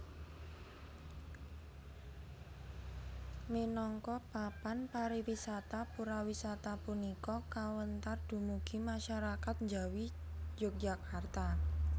Minangka papan pariwisata Purawisata punika kawéntar dumugi masyarakat njawi Yogyakarta